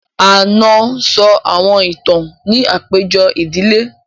Ànọ́ sọ àwọn ìtàn ní àpéjọ ìdílé